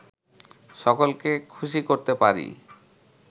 সকলকে খুশি করতে পারি